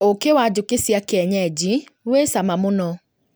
ũkĩ wa njũkĩ cia kienyeji wĩ cama mũno